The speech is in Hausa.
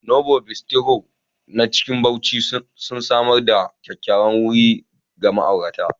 Novo Bistro na cikin Bauchi, sun samar da kyakkyawan wuri ga ma'aurata.